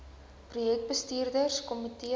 projek bestuurs komitee